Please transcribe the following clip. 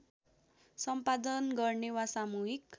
सम्पादन गर्ने वा सामूहिक